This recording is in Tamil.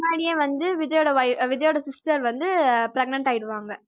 முன்னாடியே விஜய்யோட wif~ விஜய்யோட sister வந்து அஹ் pregnant ஆயிடூவாங்க